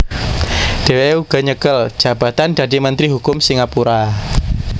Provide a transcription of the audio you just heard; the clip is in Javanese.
Dheweke uga nyekel jabatan dadi Menteri Hukum Singapura